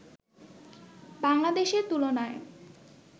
বাংলাদেশের তুলনায়